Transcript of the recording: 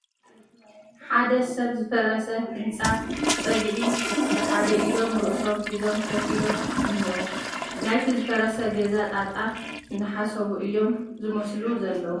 ሓደ ሰብ ዝፈረሰ ህንፃ ፀግዒ ብሓደ ኢዶም ርእሶም ሒዞም ኮፍ ኢሎም እኒዎ፡፡ ናይቲ ዝፈረሰ ገዛ ጣጣ እናሓሰቡ እዮም ዝመስሉ ዘለዉ፡፡